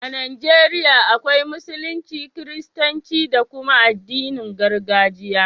A Najeriya akwai Musulunci, Kiristanci da kuma addinin gargajiya.